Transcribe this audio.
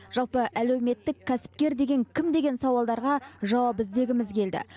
жалпы әлеуметтік кәсіпкер деген кім деген сауалдарға жауап іздегіміз келді